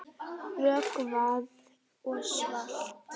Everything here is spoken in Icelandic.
Rökkvað og svalt.